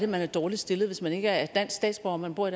man er dårligt stillet hvis man ikke er dansk statsborger men bor